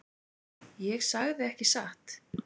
Ég sagði ekki satt.